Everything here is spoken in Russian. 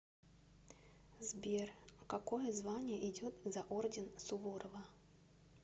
сбер какое звание идет за орден суворова